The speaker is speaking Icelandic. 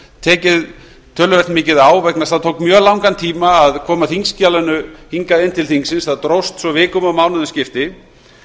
tekið töluvert mikið á vegna þess að það tók mjög langan tíma að koma þingskjalinu hingað inn til þingsins það dróst svo vikum og mánuðum skipti